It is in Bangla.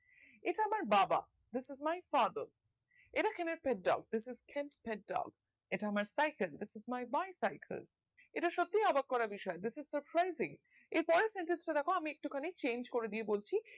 এটা আমার বাবা this is my father this is can sit down এটা আমার cycle this is my bicycle এটা সত্যি অবাক করা বিষয় this is for crazy এর পরের sentence টা দ্যাখো আমি একটু খানিক change কোরে দিয়ে বলছি